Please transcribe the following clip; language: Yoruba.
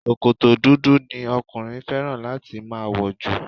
sòkòtò dúdú ni okunrin fẹràn láti ma wọ̀jù